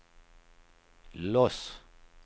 Los